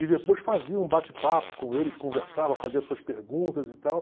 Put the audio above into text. E depois fazia um bate-papo com eles, conversava, fazia suas perguntas e tal.